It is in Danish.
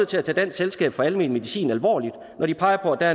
til at tage dansk selskab for almen medicin alvorligt når de peger på at